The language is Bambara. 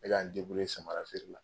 Be ka n samara feere la.